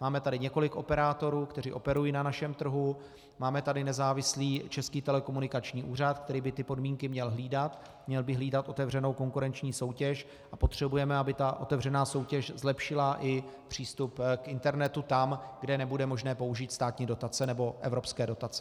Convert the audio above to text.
Máme tady několik operátorů, kteří operují na našem trhu, máme tady nezávislý Český telekomunikační úřad, který by ty podmínky měl hlídat, měl by hlídat otevřenou konkurenční soutěž, a potřebujeme, aby ta otevřená soutěž zlepšila i přístup k internetu tam, kde nebude možné použít státní dotace nebo evropské dotace.